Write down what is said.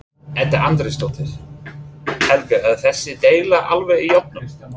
Edda Andrésdóttir: Helga er þessi deila alveg í járnum?